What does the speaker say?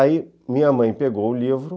Aí minha mãe pegou o livro.